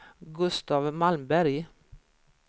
Gustaf Malmberg